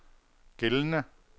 gældende